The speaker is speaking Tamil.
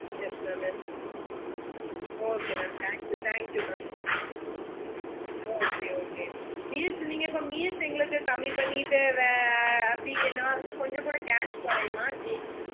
yes mam yes mamokay mam thank you thankyou mamokay okaymeals நீங்க இப்ப meals எங்களுக்கு கம்மி பண்ணி அப்படி என்னவாச்சும் கொஞ்சகூட cash குறையுமா எப்படி